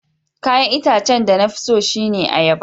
Kayan itacen de na fi tso shine ayaba.